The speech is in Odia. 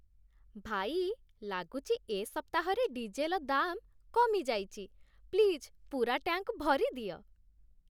ଭାଇ, ଲାଗୁଚି, ଏ ସପ୍ତାହରେ ଡିଜେଲ ଦାମ୍ କମିଯାଇଚି । ପ୍ଲିଜ୍ ପୂରା ଟ୍ୟାଙ୍କ୍ ଭରିଦିଅ ।